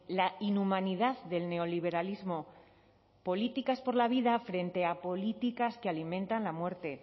la inhumanidad del neoliberalismo políticas por la vida frente a políticas que alimentan la muerte